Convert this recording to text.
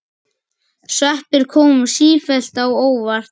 Sveppir koma sífellt á óvart!